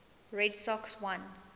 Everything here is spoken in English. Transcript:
red sox won